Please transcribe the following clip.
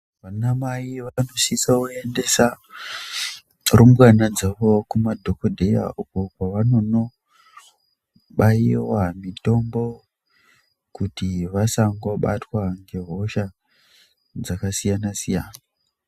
Vanamai vanosisa kuendesa tlrumbwana dzavo kumadhokodheya uko kwavanono baiwa mitombo kuti vasangobatwa nehosha dzakasiyana-siyana.